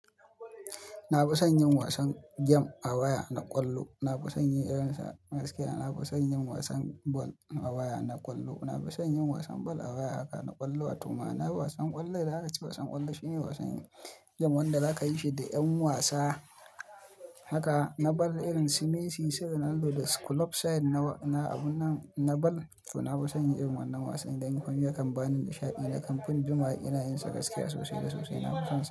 Na fi son yin wasan gem a waya na ƙwallo. Na fi son yin irin sa gaskiya. Na fi son yin wasan ball a waya na ƙwallo. Na fi son yin wasan ball a waya haka na ƙwallo. Watau ma'ana wasan ƙwallo idan aka ce wasan ƙwallo shine wasan game wanda za ka yi shi da ƴan wasa. Haka na ball irin su Messi, su Ronaldo da Su club Side. Na abun nan na ball. To na fi son yin irin wannan wasan idan nayi yakan bani nishaɗi. Na kamfin jimawa ina yin sa gaskiya sosai da sosai. Na fi son sa.